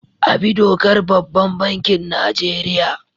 Abi dokar babban bankin Nigeria.